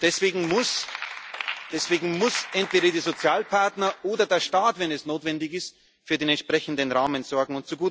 Und deswegen müssen entweder die Sozialpartner oder der Staat, wenn es notwendig ist, für den entsprechenden Rahmen sorgen.